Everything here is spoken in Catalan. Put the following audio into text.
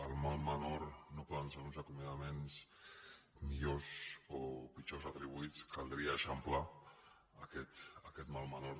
el mal menor no poden ser uns acomiadaments millor o pitjor retribuïts caldria eixamplar aquest mal me·nor